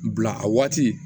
Bila a waati